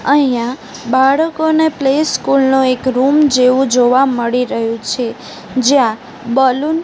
અહીંયા બાળકોને play school નું એક રૂમ જેવું જોવા મળી રહ્યું છે જ્યાં બલૂન --